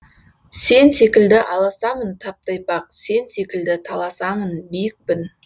сен секілді аласамын тап тайпақ сен секілді таласамын биікпін